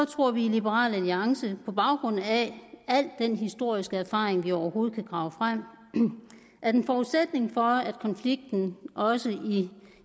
tror vi i liberal alliance på baggrund af al den historiske erfaring vi overhovedet kan grave frem at en forudsætning for at konflikten også i